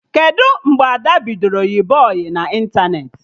Kedụ mgbe Ada bidoro yịba ọyị na ịntanetị?